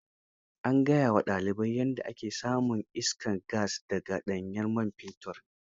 An gaya wa dalibai yadda ake samun iskar gas da ga ɗanyen man fetur.